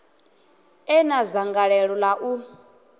e na dzangalelo ḽa u